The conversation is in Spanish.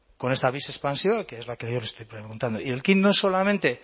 con esta expansiva que es la yo le estoy preguntando y el quid no es solamente